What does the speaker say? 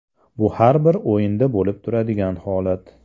Bu har bir o‘yinda bo‘lib turadigan holat.